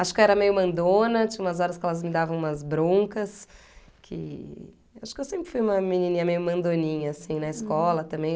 Acho que eu era meio mandona, tinha umas horas que elas me davam umas broncas, que... Acho que eu sempre fui uma menininha meio mandoninha, assim, na escola também.